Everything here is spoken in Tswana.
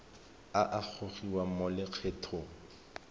a a gogiwang mo lokgethong